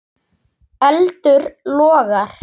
Eldur logar.